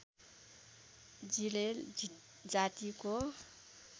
जिरेल जातिको